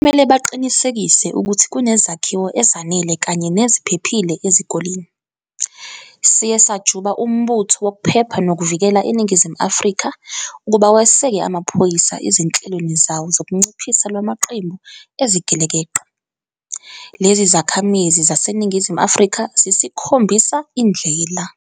Kumele baqinisekise ukuthi kunezakhiwo ezanele kanye neziphephile ezikoleni. Siye sajuba uMbutho Wokuphepha Nokuvikela eNingizimu Afrika ukuba weseke amaphoyisa ezinhlelweni zawo zokunciphisa lwamaqembu ezigelekeqe. Lezi zakhamizi zaseNingizimu Afrika zisikhombisa indlela.